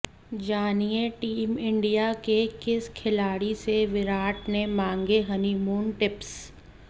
जानिए team India के किस खिलाड़ी से विराट ने मांगे हनीमून टिप्स